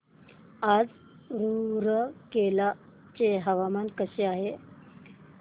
आज रूरकेला चे हवामान कसे आहे